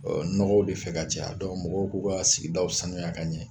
nɔgɔw be fɛ ka caya mɔgɔw b'u ka sigidaw sanuya ka ɲɛ